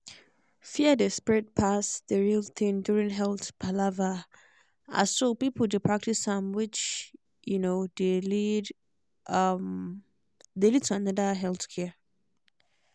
fear dey spread pass the real thing during health palaver as so people dey practice am which um dey lead um dey lead to another health care